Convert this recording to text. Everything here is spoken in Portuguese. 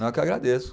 Não, eu que agradeço.